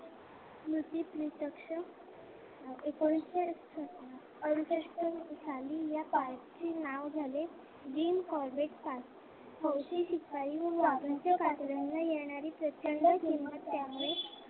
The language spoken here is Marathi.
एकोणविशे अडुसष्ट रोजी या पार्कचे नाव झाले the corbage park हौशी शिपाई व वाघ्याच्या कातड्याना येणारी किंमत त्यामुळे